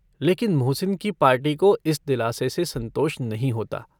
लेकिन मोहसिन की पार्टी को इस दिलासे से सन्तोष नहीं होता।